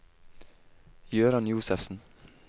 Jøran Josefsen